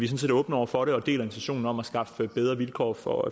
set åbne over for det og deler intentionen om at skaffe bedre vilkår for